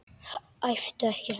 Æptu ekki svona!